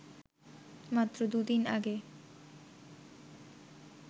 মাত্র দুদিন আগে